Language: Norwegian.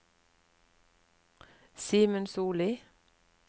Simen Solli